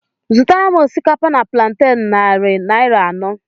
Zụtara m osikapa na planten narị naira anọ